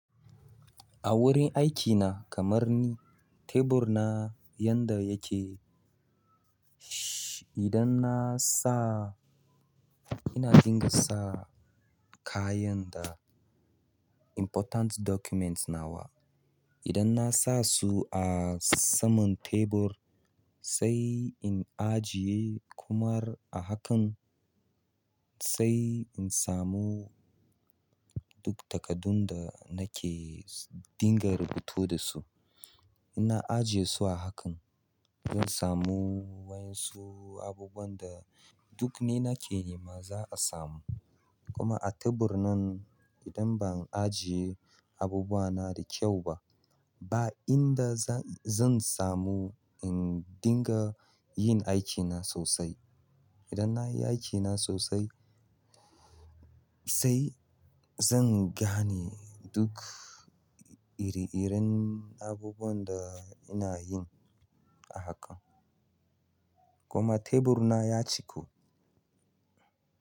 A wurin aiki na kamar ni, tebur na yanda yake shhh idan na sa ina dinga sa kayan da important documents na wa. Idan na sa su a saman tebur sai in ajiye kuma a hakan, sai in samu duk takadun da nake dinga rubutu da su. Ina ajiye su a hakan, zan samu wayan su abubuwan da duk me nake nema za a samu. Kuma a tebur nan idan ban ajiye abubuwa na da kyau ba, ba inda zan-zan samu in dinga yin aiki na sosai. Idan nayi aikina sosai sai zan gane duk ire-iren abubuwan da ina yin a haka. Kuma tebur na ya ciku.